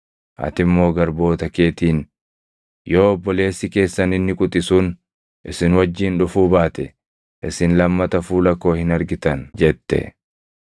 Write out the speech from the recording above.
Ati immoo garboota keetiin, ‘Yoo obboleessi keessan inni quxisuun isin wajjin dhufuu baate, isin lammata fuula koo hin argitan’ jette.